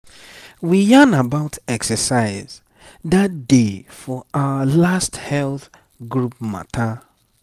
we yarn about exercise that day for our last health group matter.